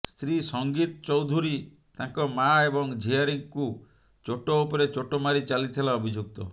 ସ୍ତ୍ରୀ ସଂଗୀତ ଚୌଧୁରୀ ତାଙ୍କ ମାଆ ଏବଂ ଝିଆରୀକୁ ଚୋଟ ଉପରେ ଚୋଟ ମାରି ଚାଲିଥିଲା ଅଭିଯୁକ୍ତ